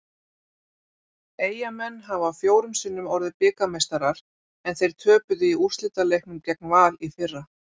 Eyjamenn hafa fjórum sinnum orðið bikarmeistarar en þeir töpuðu í úrslitaleiknum gegn Val í fyrra.